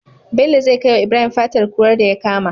Bello zai kai wa ibrahim fatar kurar daya kama